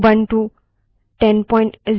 मैं उबंटु 1004 का उपयोग कर रही हूँ